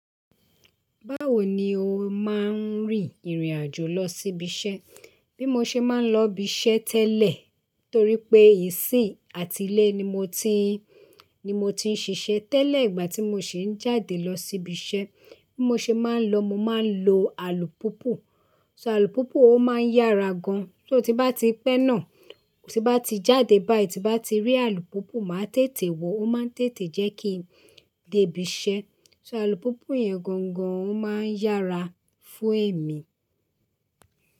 Báwo ni o máa ń rì ìrìn-àjò lọ sí ibi iṣẹ́? Bí mo ṣe máa ń lọ ibi iṣẹ́ tẹ́lẹ̀ torí pé ìsìn àti ilé ni mo ti, ni mo ti ń ṣiṣẹ́ tẹ́lẹ̀ ìgbà tí mo sì ń jáde lọ sí ibi iṣẹ́, bí mo ṣe máa ń lọ, mo máa ń lo alùpùpù. So alùpùpù o máa ń yára gan. Só ti bá ti pẹ́ náà, tí bá ti jáde báyìí, tí bá ti rí alùpùpù, máa tètè wọ̀ ó máa ń tètè jẹ́ kí n dé ibi iṣẹ́. So alùpùpù yẹn gangan o máa ń yára fún èmi.